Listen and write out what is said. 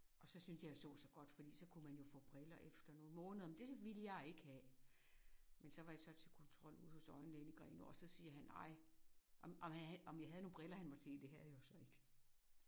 Og så synes jeg jo jeg så så godt fordi så kunne man jo få briller efter nogle måneder men det ville jeg ikke have. Men så var jeg så til kontrol ude hos øjenlægen i Grenaa og så siger han ej om jeg havde om jeg havde nogle briller han måtte se. Det havde jeg jo så ikke